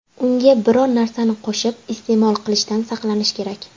Unga biror narsani qo‘shib iste’mol qilishdan saqlanish kerak.